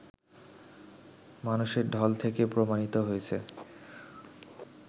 মানুষের ঢল থেকে প্রমাণিত হয়েছে